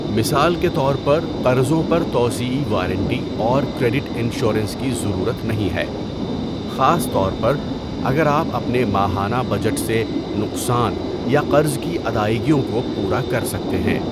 مثال کے طور پر قرضوں پر توسیعی وارنٹی اور کریڈٹ انشورنس کی ضرورت نہیں ہے، خاص طور پر اگر آپ اپنے ماہانہ بجٹ سے نقصان یا قرض کی ادائیگیوں کو پورا کر سکتے ہیں۔